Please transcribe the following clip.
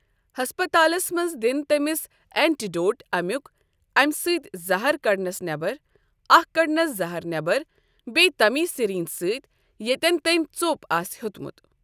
ہٮسپَتالَس منٛز دِنۍ تٔمس اینٹیڈوٹ اَمیُک اَمہِ سۭتۍ زَہر کَڑنس نیٚبر اکھ کَڑنِس زَہر نیبَر بیٚیہِ تٔمۍ سِرینج سۭتۍ ییٮتٮ۪ن تٔمۍ ژوٚپ آسہِ دیُتمُت ۔